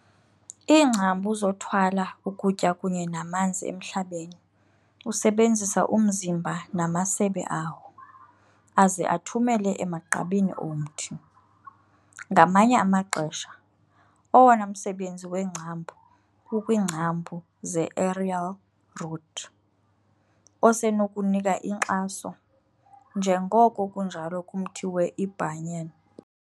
Iingcambu zothwala ukutya kunye namanzi emhlabeni usebenzisa umzimba namasebe awo, aze athumele emagqabini omthi. Ngamanye amaxesha, owona msebenzi weengcambu ukwiingcambu zeaerial root, osenokunika inkxaso, njengoko kunjalo kumthi weiBhanyan.